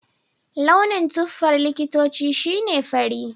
Launin tufar likitoci shi ne fari.